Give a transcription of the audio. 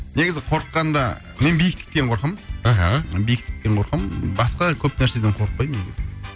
негізі қорыққанда мен биіктіктен қорқамын мхм биіктіктен қорқамын басқа көп нәрседен қорықпаймын негізі